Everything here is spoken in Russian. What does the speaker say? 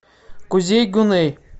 кузей гуней